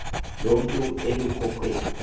loo mutu elukhukweni